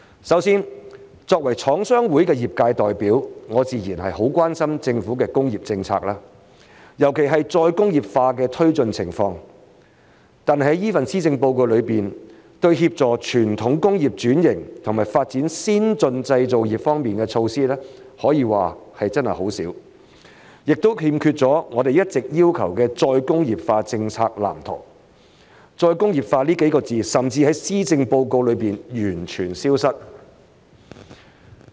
首先，作為廠商會的業界代表，我自然很關心政府的工業政策，尤其是再工業化的推進情況，但是這份施政報告中對於協助傳統工業轉型和發展先進製造業方面的措施，可說真的很少，亦欠缺了我們一直要求的再工業化政策藍圖，"再工業化"這幾個字甚至在施政報告中完全消失。